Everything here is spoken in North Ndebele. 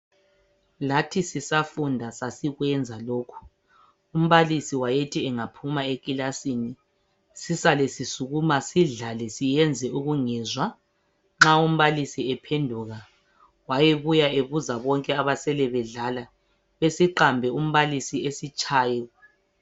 Lathi sisafunda sasikwenza lokhu umbalisi wayethi engaphuma ekilasini sisale sisukuma sidlale siyenze ukungezwa nxa umbalisi ephenduka wayebuya ebuza bonke abasele bedlala besiqambe umbalisi asitshaye.